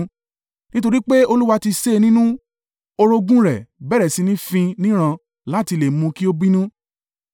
Nítorí pé Olúwa ti sé e nínú, orogún rẹ̀ bẹ̀rẹ̀ sí ní fín níràn láti lè mú kí ó bínú.